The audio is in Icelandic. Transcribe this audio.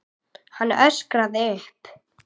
Hann öskraði upp.